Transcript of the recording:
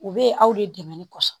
U bɛ ye aw de dɛmɛnni kɔsɔn.